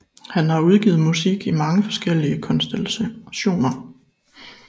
Han har udgivet musik i mange forskellige konstellationer